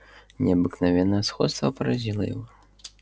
необыкновенное сходство поразило его